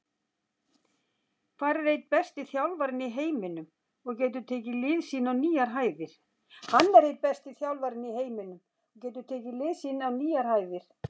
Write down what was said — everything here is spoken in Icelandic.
Hann er einn besti þjálfarinn í heiminum og getur tekið lið sín á nýjar hæðir.